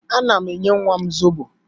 Ana m enye nwam zobo